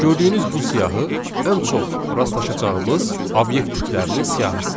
Gördüyünüz bu siyahı ən çox rastlaşacağımız obyekt tiplərinin siyahısıdır.